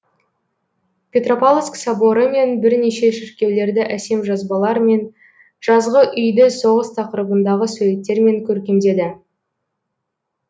петропавловск соборы мен бірнеше шіркеулерді әсем жазбалар мен жазғы үйді соғыс тақырыбындағы суреттермен көркемдеді